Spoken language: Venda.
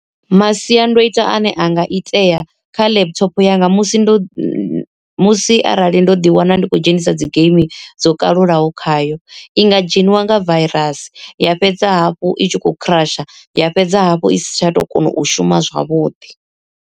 Masiandoitwa ane anga itea kha laptop yanga musi ndo musi arali ndo ḓi wana ndi khou dzhenisa dzi geimi dzo kalulaho khayo. I nga dzheniwa nga virus ya fhedza hafhu itshi kho crush ya fhedza hafhu i si tsha to kona u shuma zwavhuḓi.